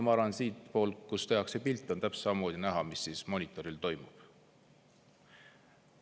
Ma arvan, et sealtpoolt, kust tehakse pilti, on ilusti näha, mis monitoril toimub.